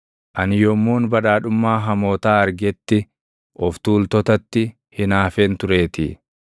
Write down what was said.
Ani yommuun badhaadhummaa hamootaa argetti, of tuultotatti hinaafeen tureetii.